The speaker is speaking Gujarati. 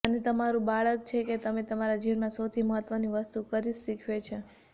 અને તમારું બાળક છે કે તમે તમારા જીવનમાં સૌથી મહત્વની વસ્તુ કરીશ શીખવે છે